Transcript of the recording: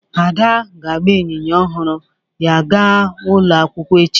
Ada ga-agba ịnyịnya ọhụrụ ya gaa ụlọ akwụkwọ echi